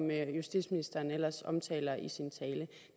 justitsministeren ellers omtaler i sin tale